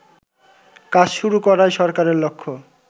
কাজ শুরু করাই সরকারের লক্ষ্য